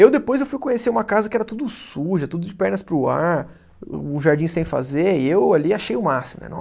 Eu depois eu fui conhecer uma casa que era tudo suja, tudo de pernas para o ar, um jardim sem fazer, e eu ali achei o máximo, né?